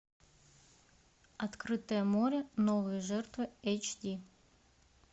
открытое море новые жертвы эйч ди